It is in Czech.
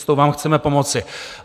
S tou vám chceme pomoci.